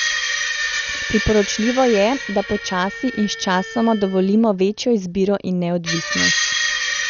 Priporočljivo je, da počasi in sčasoma dovolimo večjo izbiro in neodvisnost.